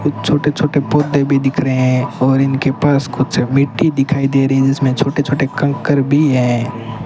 कुछ छोटे छोटे पौधे भी दिख रहे हैं और इनके पास कुछ मिट्टी दिखाई दे रही है जिसमें छोटे छोटे कंकर भी हैं।